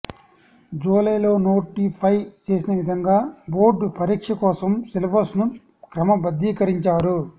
July లో notify చేసిన విధంగా బోర్డు పరీక్ష కోసం సిలబస్ ను క్రమబద్ధీకరించారు